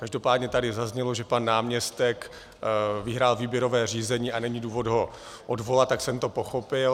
Každopádně tady zaznělo, že pan náměstek vyhrál výběrové řízení a není důvod ho odvolat, tak jsem to pochopil.